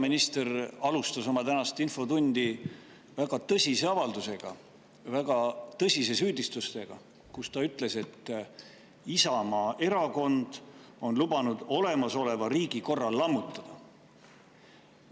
Peaminister alustas oma tänast infotundi väga tõsise avaldusega, väga tõsise süüdistusega, kus ta ütles, et Isamaa Erakond on lubanud olemasoleva riigikorra lammutada.